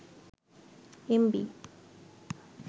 MB